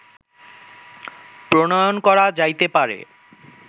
প্রণয়ন করা যাইতে পারে